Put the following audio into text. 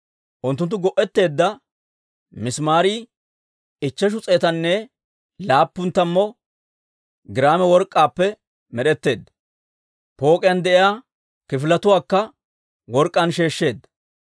Unttunttu go'etteedda misimaarii ichcheshu s'eetanne laappun tammu giraame work'k'aappe med'etteedda. Pook'iyaan de'iyaa kifiletuwaakka work'k'aan sheeshsheedda.